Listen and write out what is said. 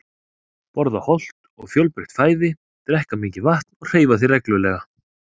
Borða hollt og fjölbreytt fæði, drekka mikið vatn og hreyfa þig reglulega.